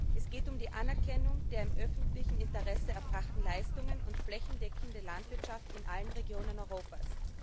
Es geht um die Anerkennung der im öffentlichen Interesse erbrachten Leistungen und flächendeckende Landwirtschaft in allen Regionen Europas.